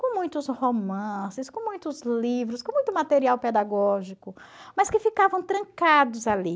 com muitos romances, com muitos livros, com muito material pedagógico, mas que ficavam trancados ali.